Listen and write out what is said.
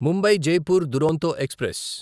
Mumbai Jaipur Duronto express